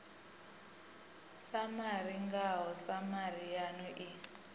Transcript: samari ngao samari yanu i